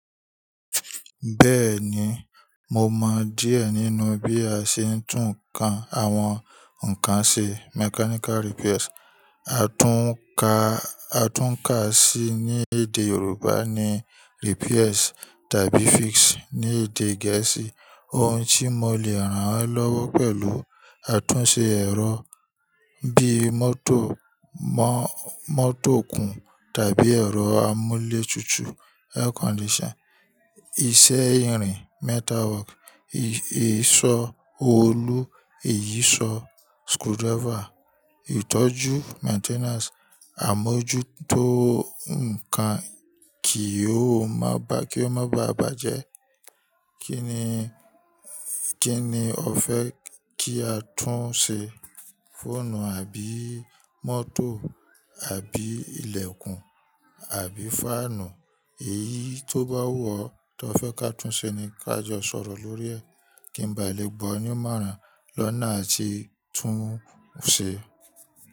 Bẹ́ẹ̀ni, mo mọ díẹ̀ nínú bí a ṣe ń tún ńkán, àwọn ńkán ṣe, mechanical repairs. Àtúnkà, àtúnkà si ni èdè Yorùbá ni repairs tàbí fix ní èdè Gẹ̀ẹ́sì. Ohun tí mo le ràn ẹ́ lọ́wọ́ pẹ̀lú àtúnṣe ẹ̀rọ bí mótò, mọ́-mótò òkun tàbí ẹ̀rọ amúlé tutù, air condition, iṣẹ́ irin, metal work, ìsọ òòlù, ìyíṣòó, screwdriver, ìtọ́jú, maintenance, àmójútó ńkán kí ó má bà- kí ó má bá à bàjẹ́. Kí ni, kí ni ọ fẹ́ kí a tún ṣe? Fóònù àbí mótò àbí ìlẹ̀kùn àbí fáànù? Èyí tó bá wù ọ́ tí ọ fẹ́ ká tún ṣe ni ká jọ sọ̀rọ̀ lórí ẹ̀ kí n ba lè gbọ́ ẹ ní márà lọ́nà atí tún un ṣe.